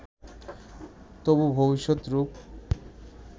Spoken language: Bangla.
তবু ভবিষ্যৎ রূপ